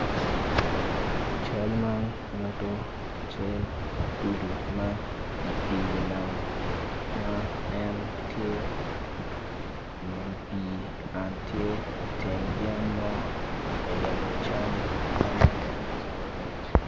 Cal man nyutu cal atudu ma i pii nam ma en tye i wi pii an tye iteng yen mo ka yenyo cam magege calo rec